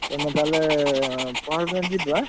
ତମେ ତାହେଲେ ପହରଦିନ ଯିବ ଏଁ?